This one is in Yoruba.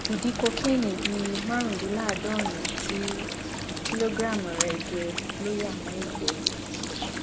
ìdí kokéènì bíi márùndínláàádọrin tí kìlógíráàmù rẹ jẹ ló yá mọ ìgbẹ